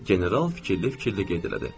General fikirli-fikirli qeyd elədi.